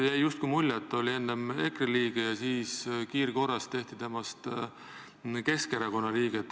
Jäi justkui mulje, et ta oli enne EKRE liige ja siis kiirkorras tehti temast Keskerakonna liige.